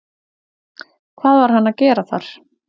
Hvað var hann að gera þar?